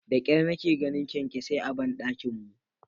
Da kyar nake ganin kyankyasai a bandakin mu.